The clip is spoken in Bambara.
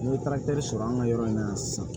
N'i ye tariki sɔrɔ an ka yɔrɔ in na sisan